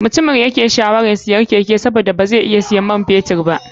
Mutumin yayake shawarar siyan keke sabida bazai iya siyan man fetur ba.